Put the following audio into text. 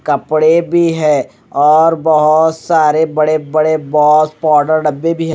कपड़े भी है और बहुत सारे बड़े बड़े बहुत पाउडर डब्बे भी है।